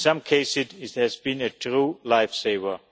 In some cases it has been a true life saver.